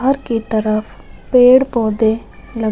घर के तरफ पेड़ पौधे लग--